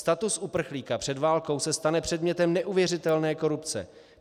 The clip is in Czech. Status uprchlíka před válkou se stane předmětem neuvěřitelné korupce.